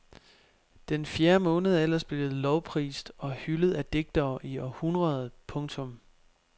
Den fjerde måned er ellers blevet lovprist og hyldet af digtere i århundreder. punktum